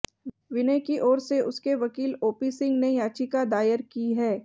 विनय की ओर से उसके वकील ओपी सिंह ने याचिका दायर की है